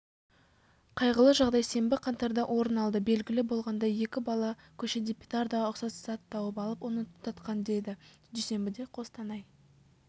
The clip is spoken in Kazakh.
қайғылы жағдай сенбі қаңтарда орын алды белгілі болғандай екі бала көшеде петардаға ұқсас зат тауып алып оны тұтатқан деді дүйсенбіде қостанай